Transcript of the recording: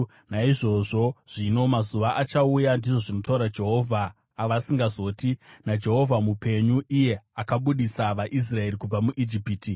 Naizvozvo zvino mazuva achauya,” ndizvo zvinotaura Jehovha, “avasingazoti, ‘NaJehovha mupenyu iye akabudisa vaIsraeri kubva muIjipiti,’